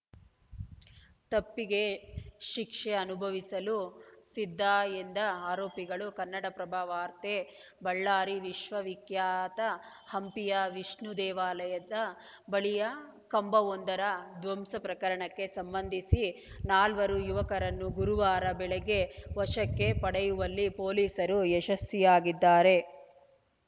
ತಪ್ಪಿಗೆ ಶಿಕ್ಷೆ ಅನುಭವಿಸಲು ಸಿದ್ಧ ಎಂದ ಆರೋಪಿಗಳು ಕನ್ನಡಪ್ರಭ ವಾರ್ತೆ ಬಳ್ಳಾರಿ ವಿಶ್ವವಿಖ್ಯಾತ ಹಂಪಿಯ ವಿಷ್ಣು ದೇವಾಲಯದ ಬಳಿಯ ಕಂಬವೊಂದರ ಧ್ವಂಸ ಪ್ರಕರಣಕ್ಕೆ ಸಂಬಂಧಿಸಿ ನಾಲ್ವರು ಯುವಕರನ್ನು ಗುರುವಾರ ಬೆಳಗ್ಗೆ ವಶಕ್ಕೆ ಪಡೆಯುವಲ್ಲಿ ಪೊಲೀಸರು ಯಶಸ್ವಿಯಾಗಿದ್ದಾರೆ